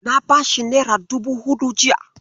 Na bashi nera dubu huɗu jiya.